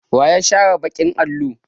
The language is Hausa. Wa ya share baƙin allo?